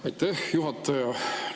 Aitäh, juhataja!